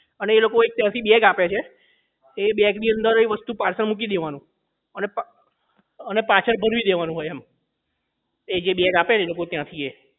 અને એ લોકો ત્યાંથી એક bag આપે છે એ bag ની અંદર એ વસ્તુ parcel મૂકી દેવાનું અને પા અને પાછળ ભરવી દેવાનું હોય એમ એજે bag આપે ને એ લોકો ત્યાંથી એ